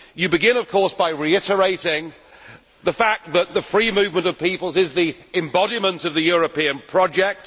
You begin of course by reiterating the fact that the free movement of peoples is the embodiment of the European project.